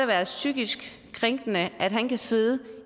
være psykisk krænkende at han kan sidde